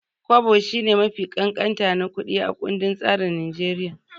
Kwabo shine mafi ƙanƙanta na kuɗi a kundin tsarin Naijeriya.